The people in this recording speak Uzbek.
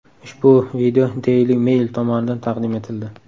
Ushbu video Daily Mail tomonidan taqdim etildi.